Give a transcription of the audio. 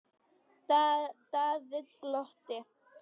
Daði glotti.